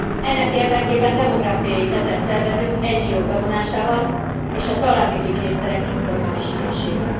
Ennek érdekében demográfiai hetet szervezünk NGO k bevonásával, és a családügyi miniszterek informális ülésével.